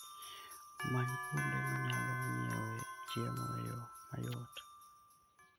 Many kuonde minyalo nyiewoe chiemo e yo mayot.